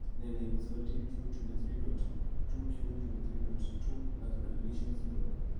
Nee neibu 17q23.2q23.2 microdeletion syndrome?